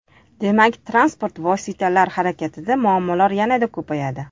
Demak, transport vositalari harakatida muammolar yanada ko‘payadi.